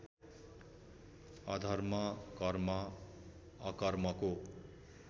अधर्म कर्म अकर्मको